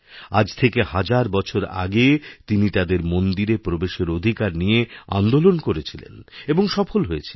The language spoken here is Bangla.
আজ থেকে হাজার বছর আগে তিনি তাদের মন্দিরে প্রবেশেরঅধিকার নিয়ে আন্দোলন করেছিলেন এবং সফল হয়েছিলেন